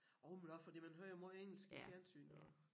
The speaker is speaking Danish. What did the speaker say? Jo men også fordi man hører jo måj engelsk i fjernsynet også